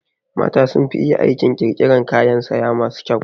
Mata sun fi iya aikin ƙirƙiran kayan saya masu kyau